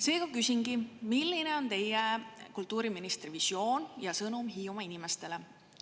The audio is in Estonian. Seega küsingi, milline on teie kui kultuuriministri visioon ja sõnum Hiiumaa inimestele.